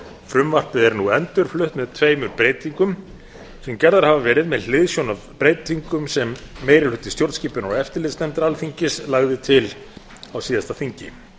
frumvarpið er nú endurflutt með tveimur breytingum sem gerðar hafa verið með hliðsjón af breytingum sem meiri hluti stjórnskipunar og eftirlitsnefndar alþingis lagði til á síðasta þingi